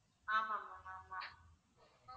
ஆமா ma'am ஆமா